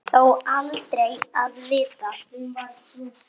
Þó aldrei að vita.